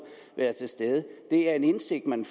være til stede det er en indsigt man